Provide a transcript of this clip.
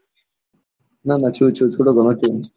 ના ના છું છું થડો ઘણો છું.